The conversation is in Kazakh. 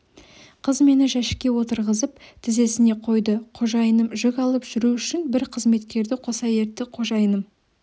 қыз мені жәшікке отырғызып тізесіне қойды қожайыным жүк алып жүру үшін бір қызметкерді қоса ертті қожайыным